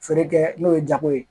Feere kɛ n'o ye jago ye